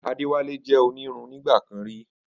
Adewale jẹ onírun nigba kan rí.